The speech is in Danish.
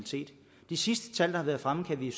de sidste tal der har været fremme kan vi